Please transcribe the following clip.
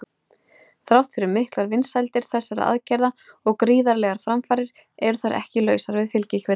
Þrátt fyrir miklar vinsældir þessara aðgerða og gríðarlegar framfarir eru þær ekki lausar við fylgikvilla.